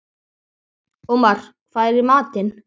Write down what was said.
Ómar, hvað er í matinn?